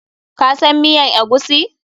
Ka san miyan eguisi?